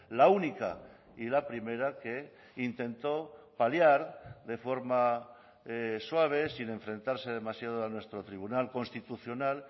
la única y la primera que intentó paliar de forma suave sin enfrentarse demasiado a nuestro tribunal constitucional